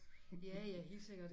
Ja ja helt sikkert